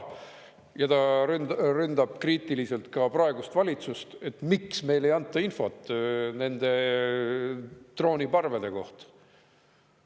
Ja ta ründab kriitiliselt ka praegust valitsust, et miks neile ei anta infot nende drooniparvede kohta.